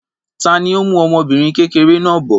Ta ni ó mú ọmọbìnrin kékeré náà bọ̀?